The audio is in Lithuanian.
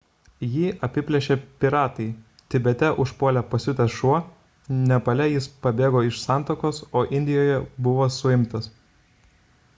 jį apiplėšė piratai tibete užpuolė pasiutęs šuo nepale jis pabėgo iš santuokos o indijoje – buvo suimtas